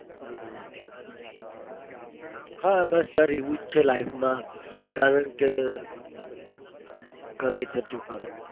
હમ હ બસ sir એવું જ છે. life કારણ કે ગમે તેટલું કરો.